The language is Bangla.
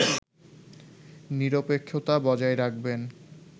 নিরপেক্ষতা বজায় রাখবেন